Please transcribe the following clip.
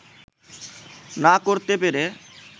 না করতে পেরে